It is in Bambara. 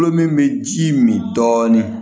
Tulo min bɛ ji min dɔɔnin